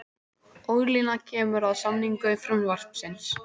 Ólína kemur að samningu frumvarpsins